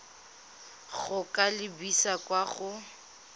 go ka lebisa kwa go